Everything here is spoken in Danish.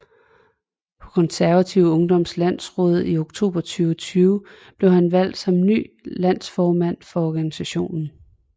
På Konservativ Ungdoms Landsråd i oktober 2020 blev han han valgt som ny landsformand for organisationen